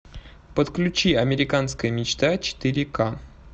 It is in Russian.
подключи американская мечта четыре ка